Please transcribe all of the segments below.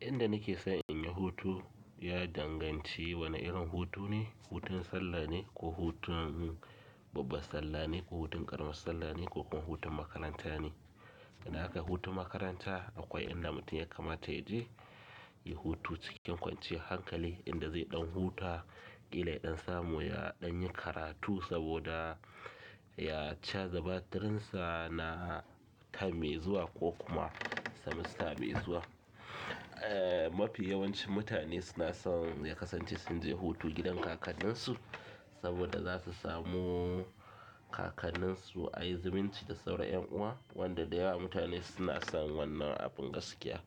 Inda nike son in yi hutu ya danganci wane irin hutu ne, hutun sallah ne ko hutun babbar sallah ne ko hutun ƙaramar sallah ne ko kuma hutun makaranta ne. Idan akai hutun makaranta akwai inda mutum ya kamata ya je ya hutu cikin kwanciyar hankali inda zai ɗan huta, ƙila ya ɗan samu ya ɗan yi karatu saboda ya caza batirinsa na term mai zuwa ko kuma semester mai zuwa. Eh mafi yawancin mutane suna son ya kasance sun je hutu gidan kakanninsu saboda za su samu kakanninsu ai zumunci da sauran 'ƴan uwa wanda da yawa mutane suna son wannan abin gaskiya.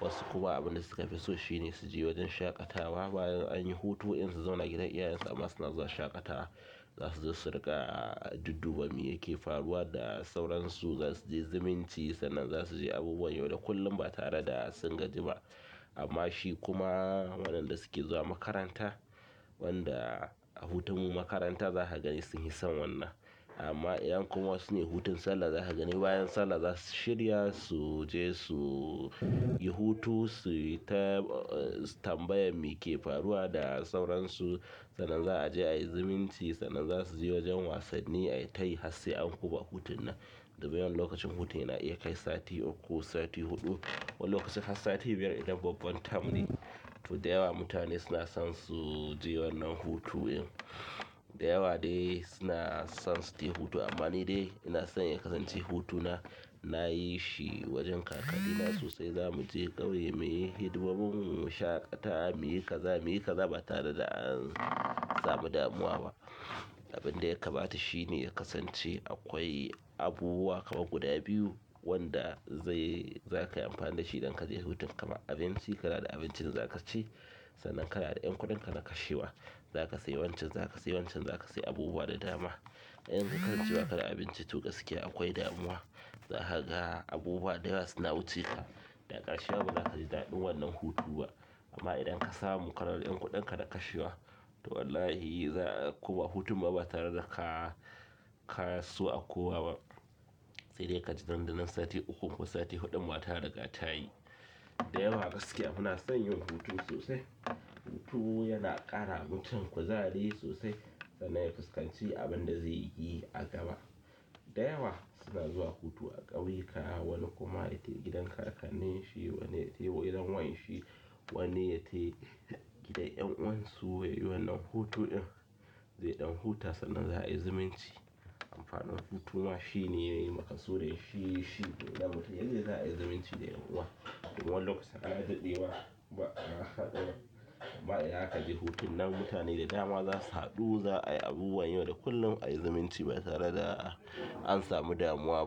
Wasu kuma abin da suka fi so shine su je wajen shaƙatawa bayan anyi hutu in su zauna gidan iyayensu amma suna zuwa shaƙatawa. Za suzo su riƙa dudduba mi yake faruwa da sauransu, za su je zumunci sannan za su je abubuwan yau da kullum ba tare da sun gaji ba. Amma shi kuma wannan da suke zuwa makaranta wanda a hutun mu makaranta za ka gani suhi son wannan. Amma ƴan kuma su ne hutun sallah za ka gani bayan sallah za su shirya su je su yi hutu, suyita tambayar mike faruwa da sauransu sannan za'a je a yi zimunci sannan za su je wajen wasanni a yi tayi hassai. An koma hutunnan, daga wannan lokacin hutu yana iya kai sati uku, sati huɗu wani lokacin har sati biyar idan babba term ne. To da yawa mutane suna son su je wannan hutun in da yawa dai suna son su tai hutu amma ni dai ina son ya kasance hutuna na yi shi wajen kakanni na sosai. Za mu je ƙauye muyi hidimomin mu, mu shaƙata, muyi kaza muyi kaza ba tare da an samu damuwa ba. Abinda ya kamata shi ne ya kasance akwai abubuwa kama guda biyu wanda zai za kai amfani da shi idan ka je hutun kama abinci, kana da abincin za ka ci, sannan kana da ƴan kuɗin ka na kashewa. Za ka sai wancan, za ka sai wancan, za ka sai abubuwa da dama. Idan ka kasance ba ka da abinci to gaskiya akwai damuwa. Za ka ga abubuwa da yawa suna wuce ka da ƙarshema ba zakaji daɗin wannan hutun ba. Amma idan ka samu kana da ƴan kuɗin ka na kashewa to wallahi za a koma hutun ba tare da ka ka so a koma ba. Sai dai ka ji nan da nan sati ukun ko sati huɗun ba tare da ka tayi. Da yawa gaskiya muna son yin hutu sosai. Hutu yana ƙara mutum kuzari sosai sannan ya fuskanci abin da zai yi a gaba. Da yawa suna zuwa hutu a ƙauyuka wani kuma yai gidan kakannin shi, wani yai gidan wan shi, wani yai gidan ƴan'uwan su yayi wannan hutun in, zai ɗan huta sannan za'ai ziminci. Amfanin hutu ma shine, maƙa sudin shi shi idan mutum ya je za a yi zimunci da ƴan'uwa. To wannan lokacin ana daɗewa, ba'a haɗu ba, amma idan akaje hutun nan mutane da dama za su haɗu, za'ayi abubuwan yau da kullum, a yi zimunci ba tare da an samu damuwa ba.